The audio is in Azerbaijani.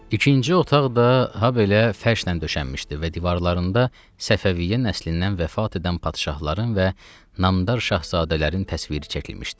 İkinci otaq da habelə fərşlə döşənmişdi və divarlarında Səfəviyyə nəslindən vəfat edən padşahların və namdar şahzadələrin təsviri çəkilmişdi.